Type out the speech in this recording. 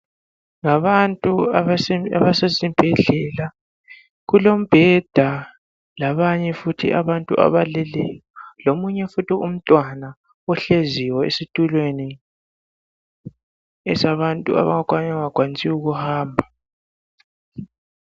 Ngabantu abasesibhedlela kulo mbheda labanye futhi abantu abaleleyo .Lomunye futhi umntwana ohleziyo esitulweni esabantu abangakwanisiyo ukuhamba.